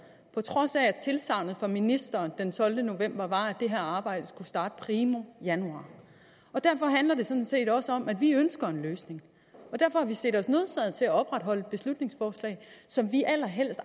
trods af at tilsagnet fra ministeren den tolvte november var at det her arbejde skulle starte primo januar derfor handler det sådan set også om at vi ønsker en løsning og derfor har vi set os nødsaget til at opretholde et beslutningsforslag som vi allerhelst